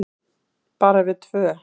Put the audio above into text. Bara við tvö.